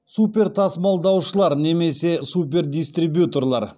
супертасымалдаушылар немесе супердистрибьюторлар